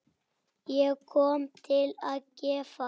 Ég kom til að gefa.